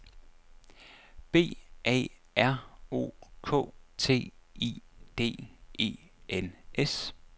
B A R O K T I D E N S